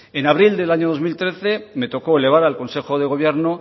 en abril del año dos mil trece me tocó elevar al consejo de gobierno